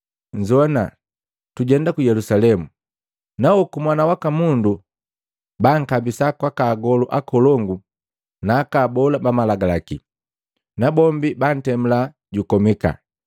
“Nzowana, tujenda ku Yelusalemu, nahoku Mwana waka Mundu bankabisa kwaka agolu akolongu naaka abola ba malagalaki, nabombi bantemula jukomika.